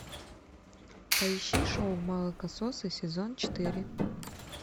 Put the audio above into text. поищи шоу молокососы сезон четыре